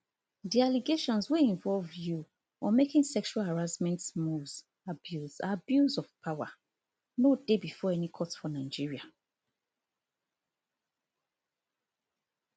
di allegations wey involved you on making sexual harassment moves abuse abuse of power no dey bifor any court for nigeria